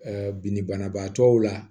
bidi banabaatɔw la